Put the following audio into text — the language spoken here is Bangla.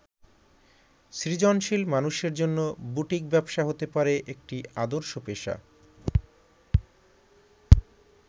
সৃজনশীল মানুষের জন্য বুটিক ব্যবসা হতে পারে একটি আদর্শ পেশা।